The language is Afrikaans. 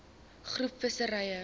groep visserye